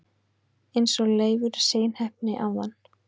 eins og Leifur seinheppni áðan!